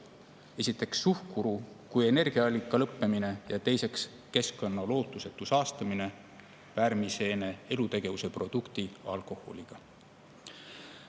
Esiteks suhkru kui energiaallika lõppemine ja teiseks keskkonna lootusetu saastumine pärmiseene elutegevuse produkti alkoholiga.